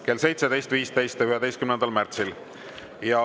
Kell 17.15 11. märtsil.